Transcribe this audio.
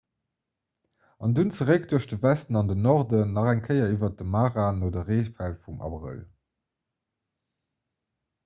an dunn zeréck duerch de westen an den norden nach eng kéier iwwer de mara no de reefäll vum abrëll